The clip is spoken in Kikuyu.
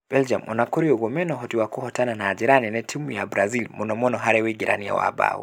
Belgium ona kũrĩ ũguo, mena ũhoti wa kũhota na njĩra nene timũ ya Brazil mũno mũno harĩ uingĩrania wa mbaũ